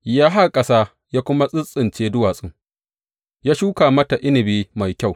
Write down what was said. Ya haƙa ƙasa ya kuma tsintsince duwatsun ya shuka mata inabi mafi kyau.